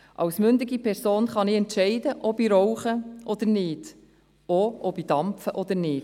Als mündige Person kann ich entscheiden, ob ich rauche oder nicht, oder auch, ob ich dampfe oder nicht.